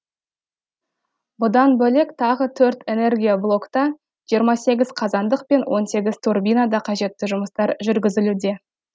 бұдан бөлек тағы төртэнергия блогта жиырма сегіз қазандық пен он сегіз турбинада қажетті жұмыстар жүргізілуде